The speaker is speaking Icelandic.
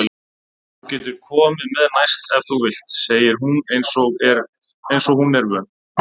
Þú getur komið með næst ef þú vilt, segir hún einsog hún er vön.